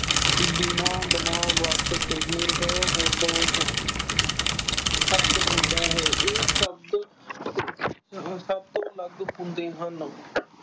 ਬਣਾਉ ਵਾਚਕ ਨਿਰਦੋਸ਼ ਸ਼ਬਦ ਹੁੰਦਾ ਹੈ। ਇਹ ਸ਼ਬਦ ਸਭ ਤੋਂ ਅਲੱਗ ਹੁੰਦੇ ਹਨ।